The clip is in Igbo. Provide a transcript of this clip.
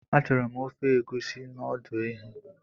Achọrọ m ofe Egusi na ọdụ ehi